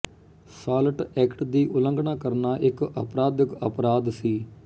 salt act ਦੀ ਉਲੰਘਣਾ ਕਰਨਾ ਇੱਕ ਅਪਰਾਧਿਕ ਅਪਰਾਧ ਸੀ